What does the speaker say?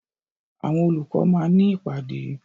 Àwọn olùkọ́ máa ní ìpàdé.